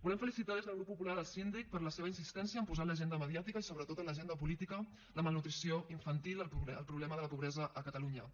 volem felicitar des del grup popular el síndic per la seva insistència en posar a l’agenda mediàtica i sobretot a l’agenda política la malnutrició infantil el problema de la pobresa a catalunya